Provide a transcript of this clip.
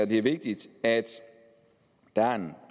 det er vigtigt at der er en